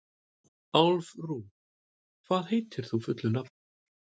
Álfrún, hvað heitir þú fullu nafni?